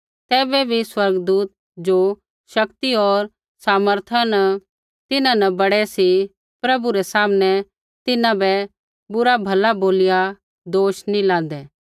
तैबै भी स्वर्गदूत ज़ो शक्ति होर सामर्था न तिन्हां न बड़ै सी प्रभु रै सामनै तिन्हां बै बुरा भला बोलिया दोष नी लाँदै